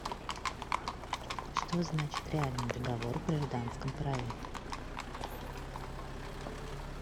что значит реальный договор в гражданском праве